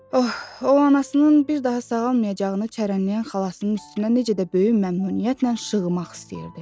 Oh, o anasının bir daha sağalmayacağını çərənləyən xalasının üstünə necə də böyük məmnuniyyətlə şığımaq istəyirdi.